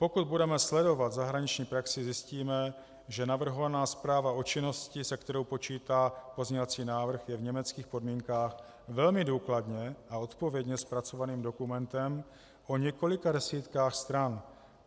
Pokud budeme sledovat zahraniční praxi, zjistíme, že navrhovaná zpráva o činnosti, s kterou počítá pozměňovací návrh, je v německých podmínkách velmi důkladně a odpovědně zpracovaným dokumentem o několika desítkách stran.